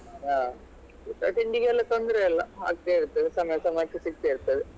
ಹ ಊಟ ತಿಂಡಿಗೆಲ್ಲ ತೊಂದ್ರೆ ಇಲ್ಲ ಆಗ್ತಾ ಇರ್ತದೆ ಸಮಯ ಸಮಯಕ್ಕೆ ಸಿಗ್ತಾ ಇರ್ತದೆ.